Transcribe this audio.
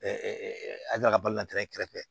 an ka balo natɛ kɛrɛfɛ